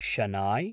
शनाय्